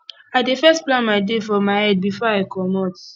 i dey first plan my day for my head before i comot